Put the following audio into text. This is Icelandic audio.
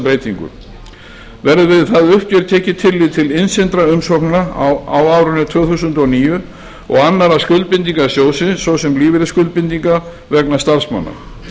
breytingu verður við það uppgjör tekið tillit til innsendra umsókna á árinu tvö þúsund og níu og annarra skuldbindinga sjóðsins svo sem lífeyrisskuldbindinga vegna starfsmanna